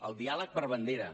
el diàleg per bandera